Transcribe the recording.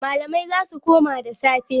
Malamai za su koma da safe.